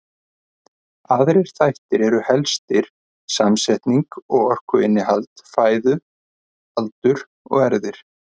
Aðrir þættir eru helstir samsetning og orkuinnihald fæðu, aldur og erfðir.